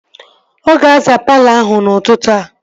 Ọ ga-azaa palọ ahụ n'ụtụtụ a